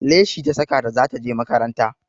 Leshi ta saka da ta je makaranta